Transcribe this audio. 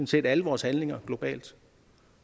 set alle vores handlinger globalt